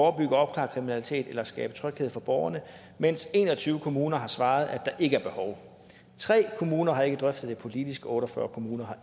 og opklare kriminalitet eller skabe tryghed for borgerne mens en og tyve kommuner har svaret at der ikke er behov tre kommuner har ikke drøftet det politisk og otte og fyrre kommuner